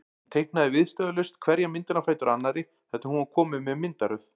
Hún teiknaði viðstöðulaust hverja myndina á fætur annarri þar til hún var komin með myndaröð.